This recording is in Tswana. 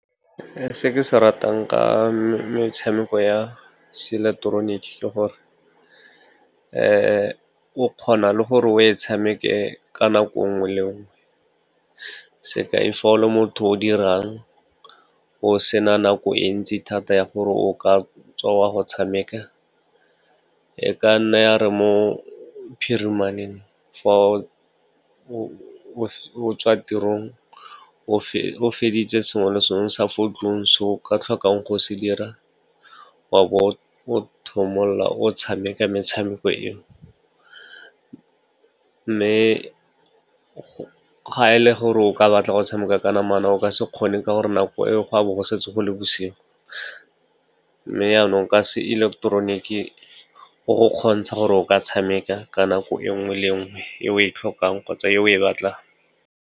Se ke se ratang ka metshameko ya se ileketeroniki ke gore o kgona le gore o e tshameke ka nako nngwe le nngwe. Sekai, fa o le motho o dirang, o se na nako e ntsi thata ya gore o ka tswa go tshameka, e ka nna ya re mo phirimaneng fa o tswa tirong o feditse sengwe le sengwe sa fo ntlong se o ka tlhokang go se dira, wa bo o thomolla o tshameka metshameko eo. Mme ga e le gore o ka batla go tshameka ka namana, o ka se kgone ka gore nako e go a bo go setse go le bosigo. Mme yanong ka se ileketeroniki go go kgontsha gore o ka tshameka ka nako nngwe le nngwe e o e tlhokang kgotsa e o e batlang.